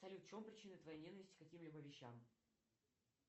салют в чем причина твоей ненависти к каким либо вещам